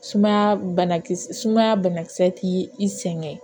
Sumaya banakisɛ sumaya banakisɛ ti i sɛgɛn